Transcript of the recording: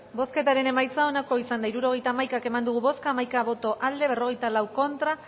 bozketaren emaitza onako izan da hirurogeita hamaika eman dugu bozka hamaika boto aldekoa berrogeita lau contra